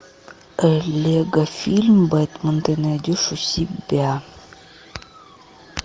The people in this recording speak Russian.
лего фильм бэтмен ты найдешь у себя